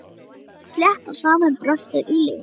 Stóð slétt á sama um bröltið í Lenu.